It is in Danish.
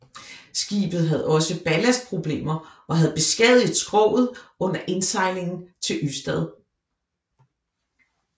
Skibet have også ballastproblemer og havde beskadiget skroget under indsejlingen til Ystad